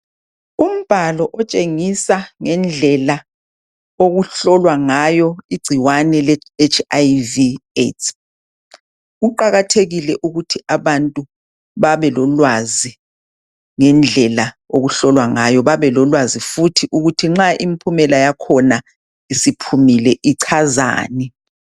Umbhalo otshengisa ngendlela okuhlolwa ngayo igcikwane leHIV/AIDS. Kuqakathekile ukuthi abantu babelolwazi ngendlela okuhlolwa ngayo babelolwazi futhi ukuthi nxa impumela yakhona isiphumile ichazani.